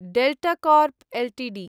delta Corp Ltd